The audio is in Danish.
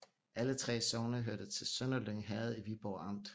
Alle 3 sogne hørte til Sønderlyng Herred i Viborg Amt